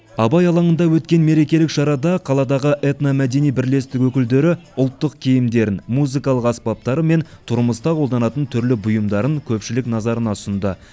абай алаңында өткен мерекелік шарада қаладағы этномәдени бірлестік өкілдері ұлттық киімдерін музыкалық аспаптары мен тұрмыста қолданатын түрлі бұйымдарын көпшілік назарына ұсынды